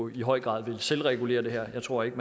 i høj grad vil selvregulere det her jeg tror ikke